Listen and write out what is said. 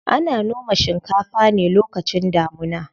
Ana noma shinkafa ne lokacin damuna.